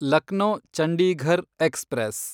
Lucknow Chandigarh express